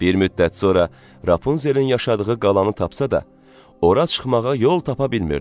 Bir müddət sonra Rapunzelin yaşadığı qalanı tapsa da, ora çıxmağa yol tapa bilmirdi.